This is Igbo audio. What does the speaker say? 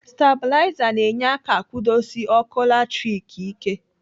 Stabulaza na-enye aka akwudosi ọkụ latrik ike.